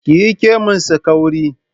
Ki yi kemon sa kauri